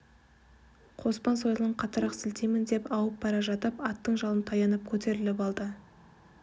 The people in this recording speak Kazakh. қоспан сойылын қаттырақ сілтеймін деп ауып бара жатып аттың жалын таянып көтеріліп алды